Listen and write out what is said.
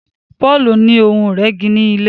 Paul ní Ohun ìrẹ́gi ní ilé.